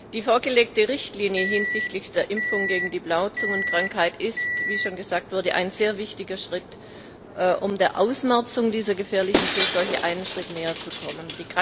Die vorgelegte Richtlinie hinsichtlich der Impfung gegen die Blauzungenkrankheit ist, wie schon gesagt wurde, ein sehr wichtiger Schritt, um der Ausmerzung dieser gefährlichen Tierseuche einen Schritt näher zu kommen.